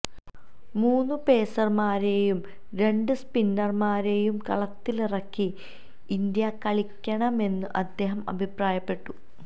മൂന്നു പേസര്മാരെയും രണ്ട് സ്പിന്നര്മാരെയും കളത്തിലിറക്കി ഇന്ത്യ കളിക്കണമെന്നും അദ്ദേഹം അഭിപ്രായപ്പെട്ടു